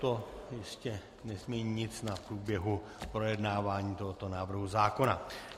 To jistě nezmění nic na průběhu projednávání tohoto návrhu zákona.